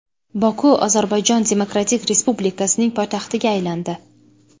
Boku Ozarbayjon Demokratik Respublikasining poytaxtiga aylandi.